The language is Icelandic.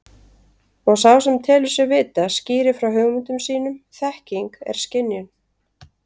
Og sá sem telur sig vita skýrir frá hugmyndum sínum þekking er skynjun.